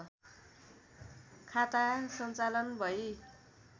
खाता सञ्चालन भई